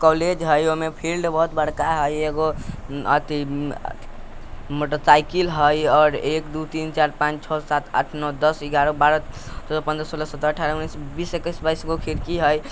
कॉलेज हई उमें फील्ड बहुत बड़का हई एगो मोटर साईकिल हई और एक दो तीन चार पांच छह सात आठ नौ दस ग्यारह बारह तेरह चौदह पन्द्र सोलह सत्रह अठारह उन्नीस बीस इक्कीस बाइस खिड़की हई।